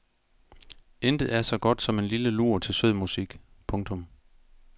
Intet er så godt som en lille lur til sød musik. punktum